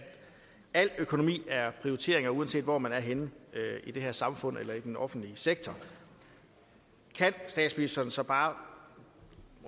al økonomi er prioriteringer uanset hvor man er henne i det her samfund eller i den offentlige sektor kan statsministeren så bare